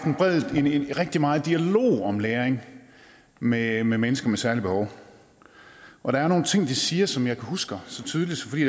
rigtig meget dialog om læring med med mennesker med særlige behov og der er nogle ting de siger som jeg husker så tydeligt fordi